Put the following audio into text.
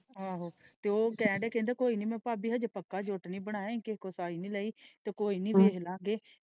ਆਹੋ ਤੇ ਉਹ ਕਹਿਣ ਡਯਾ ਕਹਿੰਦਾ ਕੋਈ ਨਹੀਂ ਮੈਂ ਭਾਬੀ ਹਾਜੇ ਪਕਾ ਜੋਤ ਨਹੀਂ ਬਣਾਇ ਕੋਈ ਨਹੀਂ ਲਈ ਤੇ ਕੋਈ ਨਹੀਂ ਵੇਖ ਲਾ ਗਏ।